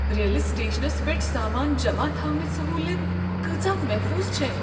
ریلہِ سٹیشنس پیٹھ سامان جمع تھونٕچ سہوٗلیت کٲژاہ محفوظ چھےٚ؟